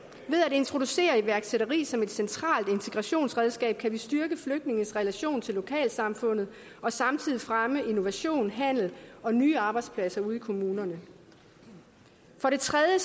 introducere iværksætteri som et centralt integrationsredskab kan vi styrke flygtninges relation til lokalsamfundet og samtidig fremme innovation handel og nye arbejdspladser ude i kommunerne for det tredje